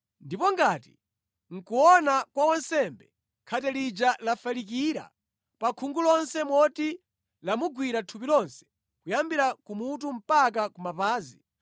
“Ndipo ngati, mʼkuona kwa wansembe, khate lija lafalikira pa khungu lonse moti lamugwira thupi lonse kuyambira kumutu mpaka kumapazi,